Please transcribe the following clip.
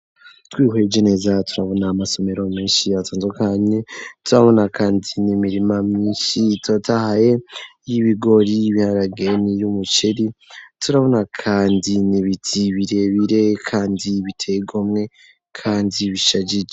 Twihweje neza, turabona amasomero, menshi yatandukanye turabona kandi, ni mirima myinshi itotahaye y'ibigori ,Ibiharage ni y'umukeri, turabona kandi ni biti birebire kandi biteyigomwe kandi bishajije.